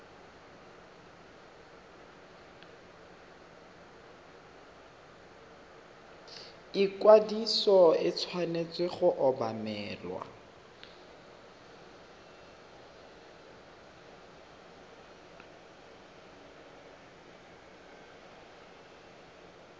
ikwadiso e tshwanetse go obamelwa